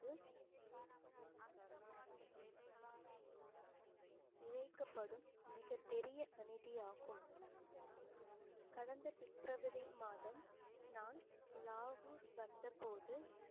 இழைக்கப்படும் மிகப் பெரிய அநீதியாகும் கடந்த பிப்ரவரி மாதம் நான் லாகூர் வந்த போது